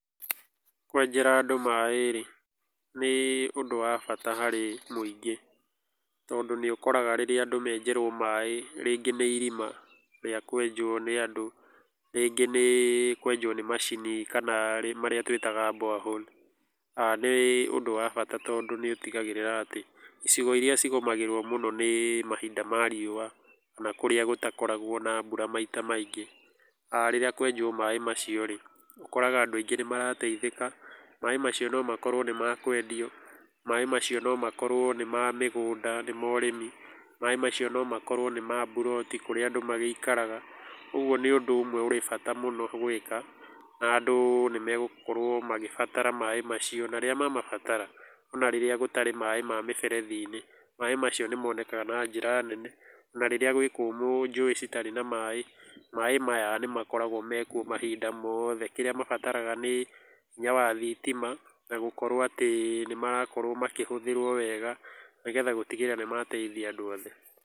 Kwenjera andũ maĩ rĩ nĩ ũndũ wa bata harĩ mũingĩ tondũ nĩ ũkoraga rĩrĩa andũ menjerũo maĩ rĩngĩ nĩ irima rĩa kwenjũo nĩ andũ rĩngĩ nĩ kwenjũo nĩ macini kana marĩa twĩtaga borehole. Nĩ ũndũ wa bata tondũ nĩ ũtigagĩrĩra atĩ icigo irĩa cigũmagĩrũo mũno nĩ mahinda ma riũa kana kũrĩa gũtakoragũo na mbura mahinda maingĩ, rĩrĩa kwenjũo maĩ macio rĩ, ũkoraga andũ aingĩ nĩ marateithĩka. Maĩ macio no makorũo nĩ makwendio, maĩ macio no makorũo nĩ ma mĩgũnda kana nĩ ma ũrĩmi, maĩ macio no makorũo nĩ ma mburoti kũrĩa andũ magĩikaraga. Ũguo nĩ ũndũ ũmwe ũrĩ bata gwĩka, na andũ nĩ megũkorũo magĩbatara maĩ macio. Na rĩrĩa mamabataraga ona rĩrĩa gũtarĩ maĩ ma mĩberethi-inĩ, maĩ macio nĩ monekaga na njĩra nene. Na rĩrĩa gwĩ kũmũ njui citarĩ na maĩ, maĩ maya nĩ makoragũo mekuo mahinda mothe. Kĩrĩa mabataraga nĩ hinya wa thitima na gũkorũo atĩ nĩ marakorũo makĩhũthĩrwo wega nĩgetha gũtigĩrĩra nĩ mateithia andũ othe.